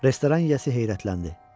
Restoran yiyəsi heyrətləndi.